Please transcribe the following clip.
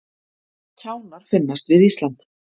Kjánar finnast við Ísland